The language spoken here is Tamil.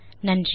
நன்றி